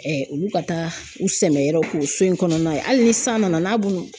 olu ka taa u sɛmɛn yɔrɔ k'o so in kɔnɔna ye hali ni san nana n'a bulu